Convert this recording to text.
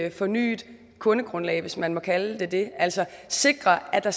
et fornyet kundegrundlag hvis man må kalde det det altså sikre at der